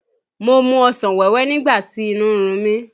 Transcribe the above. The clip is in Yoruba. Mo mu ọsàn wẹ́wẹ́ nígbà tí inú ń run mí.